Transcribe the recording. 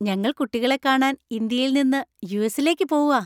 ഞങ്ങൾ കുട്ടികളെ കാണാൻ ഇന്ത്യയിൽ നിന്ന് യു.എസ്.ലേക്ക് പോവാ.